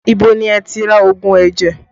Ibo ni ẹ ti ra òògùn ẹ̀jẹ̀?